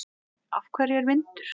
Af hverju er vindur?